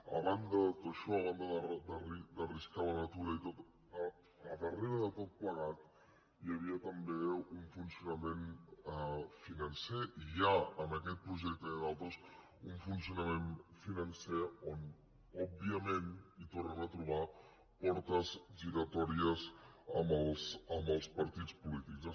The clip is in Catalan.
a banda de tot això a banda d’arriscar la natura i tot al darrere de tot plegat hi havia també un funcionament financer hi ha en aquest projecte i en d’altres un funcionament financer on òbviament tornem a trobar portes giratòries amb els partits polítics